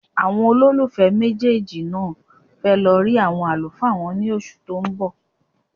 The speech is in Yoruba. Àwọn olólùfẹ́ méjèèjì náà fẹ́ lọ rí àwọn àlùfáà wọn ní oṣù tó ń bọ̀.